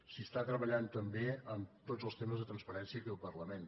s’està treballant també en tots els temes de transparència aquí al parlament